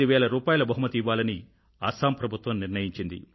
5000 బహుమతి ఇవ్వాలని అస్సాం ప్రభుత్వం నిర్ణయించింది